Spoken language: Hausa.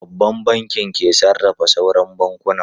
Babban Bankin ke sarrafa sauran bankunan.